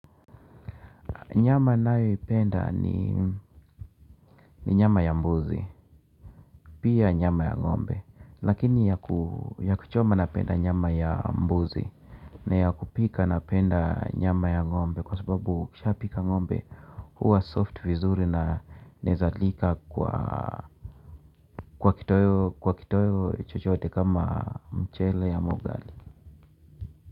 Nyama ninayoipenda ni nyama ya mbuzi, pia nyama ya ngombe. Lakini ya kuchoma napenda nyama ya mbuzi na ya kupika napenda nyama ya ng'ombe kwa sababu ukishapika ng'ombe huwa soft vizuri na inawezalika kwa kitoeo chochote kama mchele ama ugali.